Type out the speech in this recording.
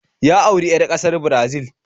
Ya auri 'yar kasar Brazil